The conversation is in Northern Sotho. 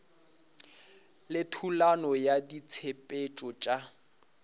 le thulano ya ditshepetšo tša